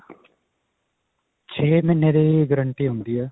ਛੇ ਮਹੀਨੇ ਦੀ guarantee ਹੁੰਦੀ ਹੈ.